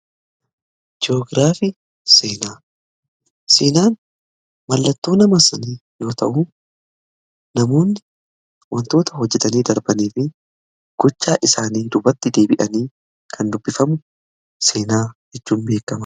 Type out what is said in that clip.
Ji'oogiraafii seenaan mallattoo nama sanii yoo ta'u, namoonni wantoota hojjetanii darbanii fi gochaa isaanii duubatti deebi'anii kan dubbifamu seenaa jedhamuun beekama.